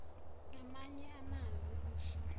ngamanye amazwi usho